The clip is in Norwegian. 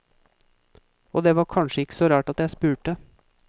Og det var kanskje ikke så rart at jeg spurte.